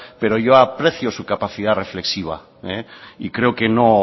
pero yo aprecio su capacidad reflexiva y creo que no